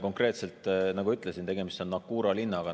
Konkreetselt, nagu ütlesin, on tegemist Naqoura linnaga.